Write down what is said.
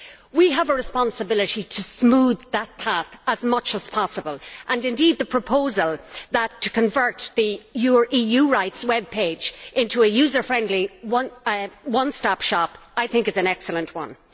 We have a responsibility to smooth that path as much as possible and indeed, the proposal to convert the EU rights web page into a user friendly, one stop shop is, I think, an excellent one.